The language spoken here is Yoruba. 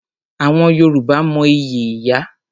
Àwọn Yorùbá mo ìyí ìyá.